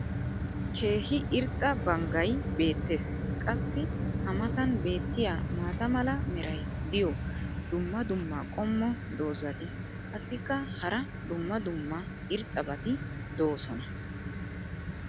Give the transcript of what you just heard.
keehi irxxa banggay beetees. qassi a matan beetiya maata mala meray diyo dumma dumma qommo dozzati qassikka hara dumma dumma irxxabati doosona.